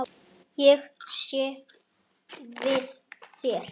Ég sé við þér.